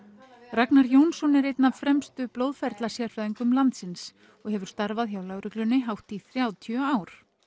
Ragnar Jónsson er einn af fremstu blóðferlasérfræðingum landsins og hefur starfað hjá lögreglunni hátt í þrjátíu ár